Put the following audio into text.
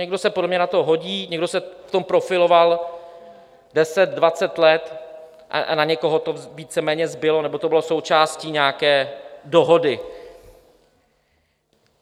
Někdo se podle mě na to hodí, někdo se v tom profiloval deset, dvacet let a na někoho to víceméně zbylo nebo to bylo součástí nějaké dohody.